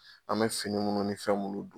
An bɛ fini munnu ni fɛn mun don.